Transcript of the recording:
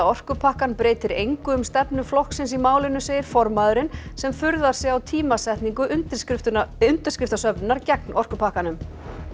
orkupakkann breytir engu um stefnu flokksins í málinu segir formaðurinn sem furðar sig á tímasetningu undirskriftasöfnunar undirskriftasöfnunar gegn orkupakkanum